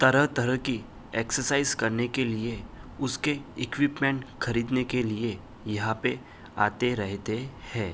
तरह तरह की एक्सरसाइज करने के लिए उसके इक्विपमेंट खरीदेने के लिए यहां पर आते रहते हैं।